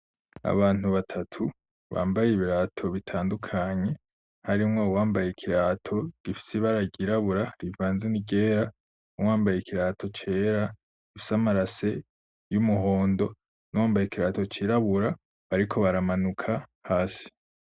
Abantu batatu bambaye ibirato bitandukanye harimwo wambaye ikirato gifisi baragirabura rivanze ni ryera uwambaye ikirato cera isamarase y'umuhondo n'uwambaye kirato cirabura ariko baramanuka hasi.